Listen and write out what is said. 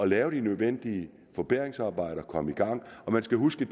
lave de nødvendige forbedringsarbejder og komme i gang man skal huske